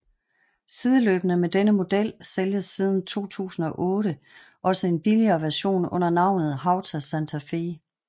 Sideløbende med denne model sælges siden 2008 også en billigere version under navnet Hawtai Santa Fe